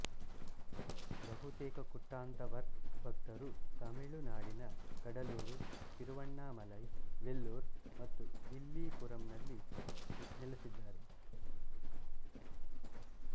ಬಹುತೇಕ ಕುಟ್ಟಾಂತವರ್ ಭಕ್ತರು ತಮಿಳು ನಾಡಿನ ಕಡಲೂರು ತಿರುವಣ್ಣಾಮಲೈ ವೆಲ್ಲೂರ್ ಮತ್ತು ವಿಲ್ಲಿಪುರಂನಲ್ಲಿ ನೆಲೆಸಿದ್ದಾರೆ